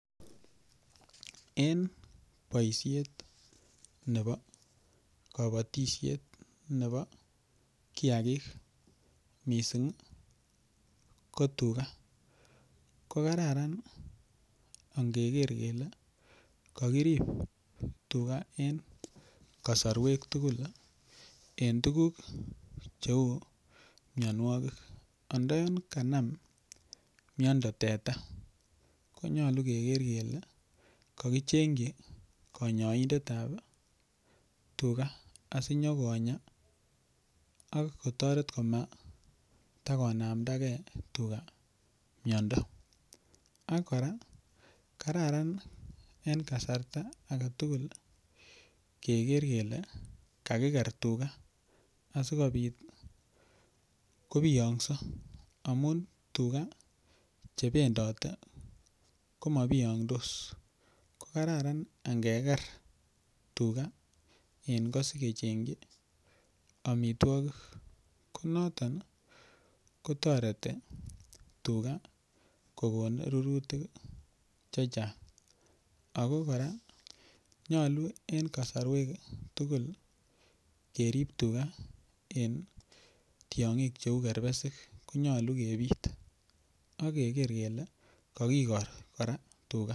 Eng boishet nebo kobotishet nebo kiakik mising ko tuga ko kararan angeker kele kakirip tuga eng kasorwek tukul eng tukuk cheu mionwokik andayon kanam miondo teta konyolu keker kele kakichengchi konyoindet ap tuga asinyokonya ak kotoret komatakonamdake tuga miondo ak kora kararan en kasarta ake tugul keker kele kakiker tuga asikobit kobiongso amun tuga chependote koma biyongdos ko kararan angeker tuga eng koot asikechengchi omitwokik ko noton kotoreti tuga kokon rurutik che chang ako kora nyolu eng kosorwek tugul kerip tuga en tiong'ik cheu kerpesik konyolu kepit akeker kele kakikor kora tuga.